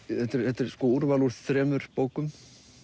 þetta er úrval úr þremur bókum